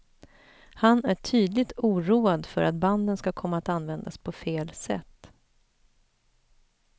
Han är tydligt oroad för att banden ska komma att användas på fel sätt.